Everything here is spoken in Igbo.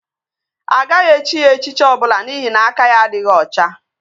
Agaghị echi ya echichi ọbụla n'ihi na aka ya adịghị ọcha